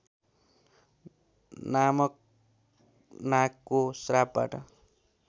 नामक नागको श्रापबाट